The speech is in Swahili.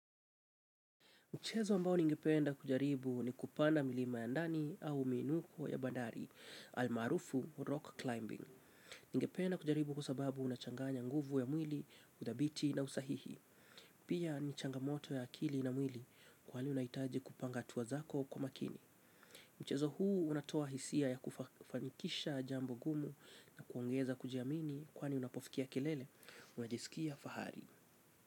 Mchezo ambao ningependa kujaribu ni kupanda milima ya ndani au miinuko ya bandari, almarufu rock climbing. Ningependa kujaribu kwa sababu unachanganya nguvu ya mwili, udhabiti na usahihi. Pia ni changamoto ya akili na mwili kwali unaitaji kupanga hatua zako kwa makini. Mchezo huu unatoa hisia ya kufanikisha jambo gumu na kuongeza kujiamini kwani unapofikia kelele. Unajisikia fahari.